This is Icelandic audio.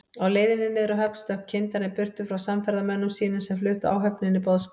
Á leiðinni niður að höfn stökk kyndarinn burtu frá samferðamönnum sínum, sem fluttu áhöfninni boðskap